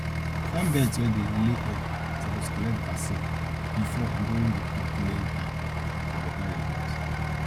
farm bird wey dey lay egg suppose collect vaccine before and during di peak laying time for betta results